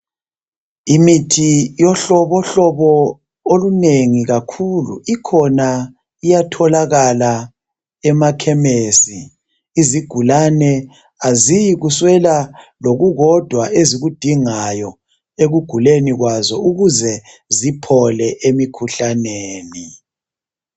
Imithi yohlobohlobo olunengi kakhulu ikhona iyatholakala emakhemesi. Izigulane aziyikuswela lokukodwa ezikudingayo ekuguleni kwazo ukuze ziphole emikhuhlaneni